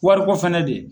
Wariko fɛnɛ de